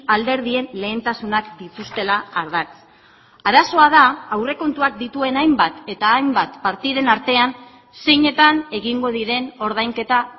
alderdien lehentasunak dituztela ardatz arazoa da aurrekontuak dituen hainbat eta hainbat partiden artean zeinetan egingo diren ordainketa